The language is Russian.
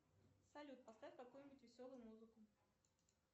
салют поставь какую нибудь веселую музыку